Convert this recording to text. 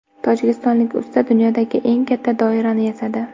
Tojikistonlik usta dunyodagi eng katta doirani yasadi.